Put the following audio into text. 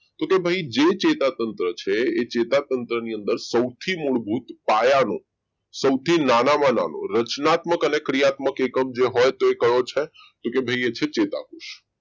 કે ભાઈ જે ચેતાતંત્ર છે ચેતાતંત્ર ની અંદર સૌથી મૂળભૂત પાયાનો સૌથી નાનામાં નાનો રચનાત્મક અને ક્રિયાત્મક એકમ જે હોય તે કયો છે કે ભાઈ એ જ ચેતાકોષ